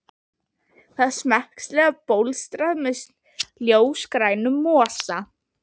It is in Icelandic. Það var smekklega bólstrað með ljósgrænum mosa.